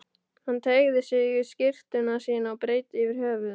Hann teygði sig í skyrtuna sína og breiddi yfir höfuð.